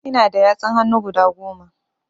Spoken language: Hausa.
Ina da yatsun hannu guda Goma